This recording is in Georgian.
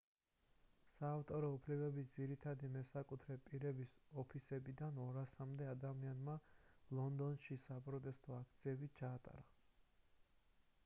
საავტორო უფლებების ძირითადი მესაკუთრე პირების ოფისებთან 200-მდე ადამიანმა ლონდონში საპროტესტო აქციები ჩაატარა